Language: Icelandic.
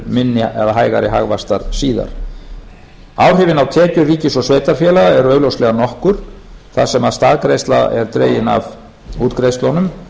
til heldur hægari hagvaxtar síðar áhrifin á tekjur ríkis og sveitarfélaga eru augljóslega nokkur þar sem staðgreiðsla er dregin af